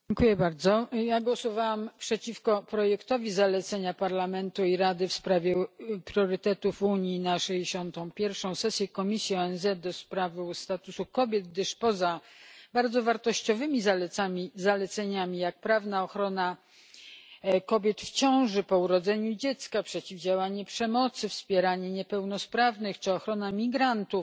Panie Przewodniczący! Głosowałam przeciwko projektowi zalecenia Parlamentu dla Rady w sprawie priorytetów Unii na 61. sesję Komisji ONZ ds. Statusu Kobiet, gdyż poza bardzo wartościowymi zaleceniami, takimi jak prawna ochrona kobiet w ciąży, po urodzeniu dziecka, przeciwdziałanie przemocy, wspieranie niepełnosprawnych czy ochrona migrantów,